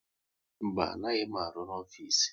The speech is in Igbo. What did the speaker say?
Mba, anaghị m aru ọrụ n'ofisi